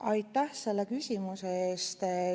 Aitäh selle küsimuse eest!